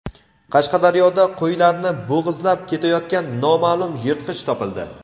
Qashqadaryoda qo‘ylarni bo‘g‘izlab ketayotgan noma’lum yirtqich topildi.